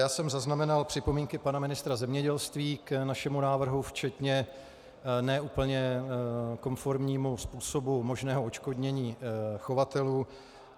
Já jsem zaznamenal připomínky pana ministra zemědělství k našemu návrhu včetně ne úplně konformnímu způsobu možného odškodnění chovatelů.